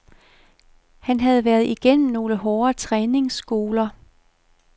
Han havde været igennem nogle hårde træningsskoler.